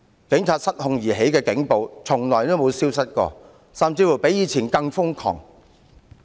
警察因失控而起的警暴從來沒有消失過，甚至比以前更瘋狂。